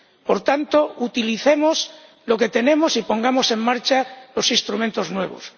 Por tanto, utilicemos lo que tenemos y pongamos en marcha los instrumentos nuevos.